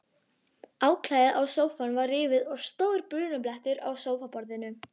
Áklæðið á sófanum var rifið og stór brunablettur á sófaborðinu.